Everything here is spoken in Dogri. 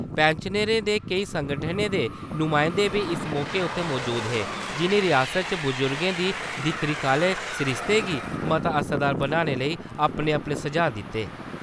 पैंनशनरें दे केईं संगठनें दे नुमाइंदे बी इस मौके उत्थै मौजूद हे, जिनें रियासत च बुजुर्गे दी दिक्ख-रिक्ख आहले सरिस्ते गी मता असरदार बनाने लेई अपने-अपने सुझाऽ दिते ।